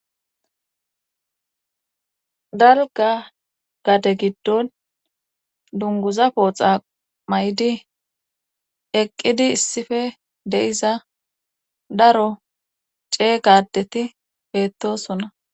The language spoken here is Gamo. Dalga gade giddon dunguza pooxa may'di eqqidi issife deiza daro cee gadeti beettosonna